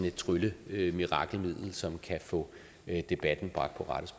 et trylle og mirakelmiddel som kan få debatten bragt